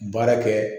Baara kɛ